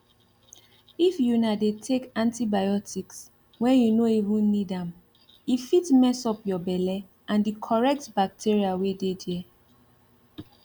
if una dey take antibiotics when you no even need ame fit mess up your belle and the correct bacteria wey dey there